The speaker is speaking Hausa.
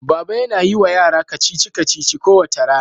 Baba yana yi wa yara kacici-kacici kowace rana.